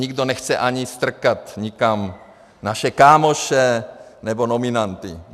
Nikdo nechce ani strkat nikam naše kámoše nebo nominanty.